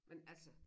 Men altså